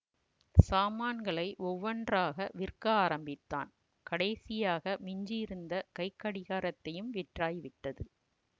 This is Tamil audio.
சாமான்களை ஒவ்வொன்றாக விற்க ஆரம்பித்தான் கடைசியாக மிஞ்சியிருந்த கைக்கடிகாரத்தையும் விற்றாய்விட்டது